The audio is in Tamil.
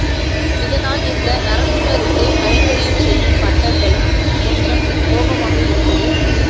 இதனால் இந்த நரசிம்மருக்குக் கைங்கரியம் செய்யும் பட்டர்களும் கொஞ்சம் கோபமாக இருப்பது